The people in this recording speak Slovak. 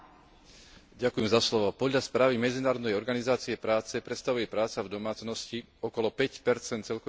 Podľa správy Medzinárodnej organizácie práce predstavuje práca v domácnosti okolo 5 z celkového počtu pracovných miest.